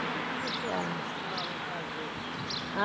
E o que que vocês costumavam fazer, assim? Ah